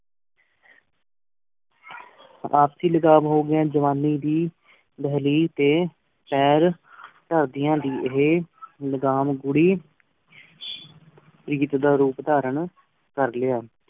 ਆਰਸੀ ਲਗਾਵ ਹੋ ਗਿਆ ਜਵਾਨੀ ਦੀ ਦੇਹਲੀ ਤੇ ਪੈਰ ਧਰਦਿਆਂ ਦੀ ਏ ਲ੍ਘਾਮ ਘੂਰੀ ਦਾ ਰੂਪ ਤਾਰਨ ਕਰ ਲੇਯ